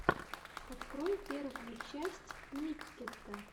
открой первую часть миккета